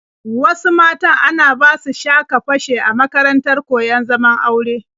Wasu matan ana basu sha-ka-fashe a makarantar koyon zaman aure.